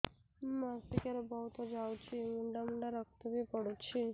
ମାସିକିଆ ରେ ବହୁତ ଯାଉଛି ମୁଣ୍ଡା ମୁଣ୍ଡା ରକ୍ତ ବି ପଡୁଛି